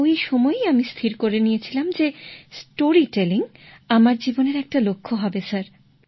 ওই সময়েই আমি স্থির করে নিয়েছিলাম যে গল্প বলা আমার জীবনের একটি লক্ষ্য হবে স্যার